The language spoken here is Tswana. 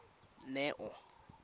neo